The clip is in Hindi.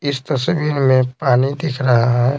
इस तस्वीर में पानी दिख रहा है।